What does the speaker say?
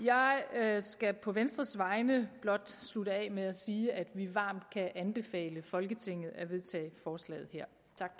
jeg skal på venstres vegne blot slutte af med at sige at vi varmt kan anbefale folketinget at vedtage forslaget her